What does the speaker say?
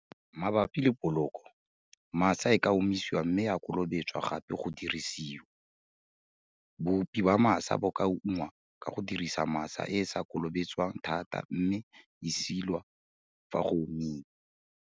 Mabapi le poloko, masa e ka omisiwa mme ya kolobetswa gape go dirisiwa. Boupi ba masa bo ka ungwa ka go dirisa masa e e sa kolobetswang thata mme e silwa fa go omile.